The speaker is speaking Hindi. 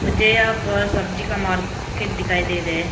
जय पर सब्जी का मार्केट दिखाई दे रहा है।